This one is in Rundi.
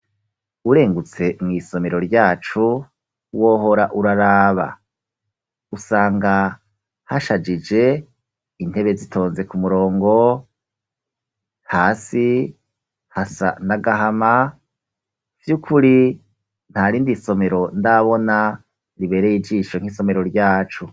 Urengutse mw’isomero ryacu, wohora uraraba; usanga hashajije, intebe zitonze ku murongo, hasi hasa n'agahama, vy’ukuri ntarindi somero ndabona, ribereye ijisho nk'isomero ryacu.